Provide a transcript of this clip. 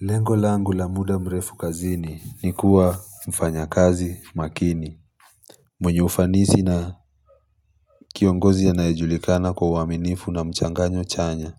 Lengo la angu la muda mrefu kazini ni kuwa mfanya kazi makini mwenye ufanisi na kiongozi ya anayejulikana kwa uaminifu na mchanganyo chanya